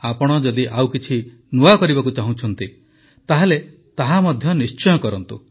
ଆପଣ ଯଦି ଆଉ କିଛି ନୂଆ କରିବାକୁ ଚାହୁଁଛନ୍ତି ତାହେଲେ ତାହା ମଧ୍ୟ ନିଶ୍ଚୟ କରନ୍ତୁ